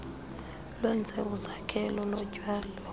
lwenze izakhelo zotyalo